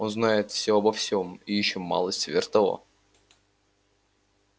он знает все обо всем и ещё малость сверх того